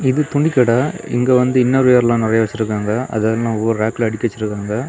இது துணி கட இங்க வந்து இன்னர்வெர்லாம் நெறைய வெச்சுருக்காங்க. அதெல்லாம் ஒவ்வொரு ரேக்ல அடுக்கி வெச்சிருக்காங்க.